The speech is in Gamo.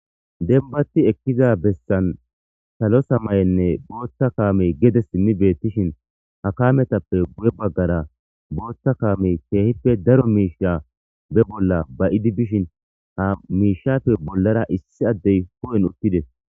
Denbati ekkiza bessan salosa may7enne bootta kaamey gede simmi beettishin ha kaametappe buye baggara bootta kaamey keehippe daro miisha be bolla ba7idi bishin ha miishappe bollara issi addey ko7en uttides.